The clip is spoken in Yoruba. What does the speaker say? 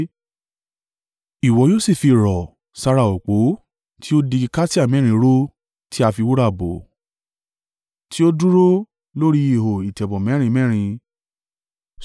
Ìwọ yóò sì fi rọ̀ sára òpó tí ó di igi kasia mẹ́rin ró tí a fi wúrà bò, tí ó dúró lórí ihò ìtẹ̀bọ̀ mẹ́rin mẹ́rin.